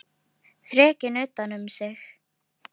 Þrekinn utan um sig.